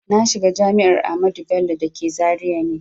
Na shiga jami'ar Ahmadu Bello da ke Zaria ne